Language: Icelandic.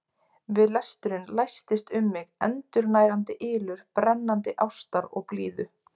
Við lesturinn læstist um mig endurnærandi ylur brennandi ástar og blíðu.